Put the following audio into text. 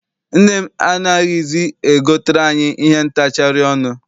Nne m anaghịzi e gotere anyị ihe ntachari ọnụ.